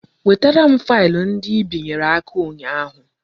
Wetere m faịlụ ndị Ị binyere aka ụnyaahụ